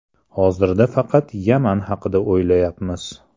Hozir faqat Yaman haqida o‘ylayapmiz.